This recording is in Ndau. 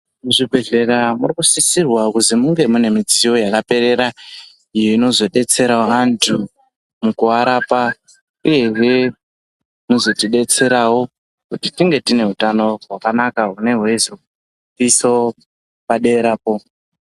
Muzvibhehleya mukusisirwa kuti munge mune midziyo yakaperera iyo inozobetserawo antu mukuwarapa uyezve inozotidetserawo kuti tinge tine utano hwakanaka hunenge hweizotiisawo paderapo.